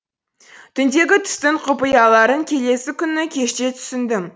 түндегі түстің құпияларын келесі күні кеште түсіндім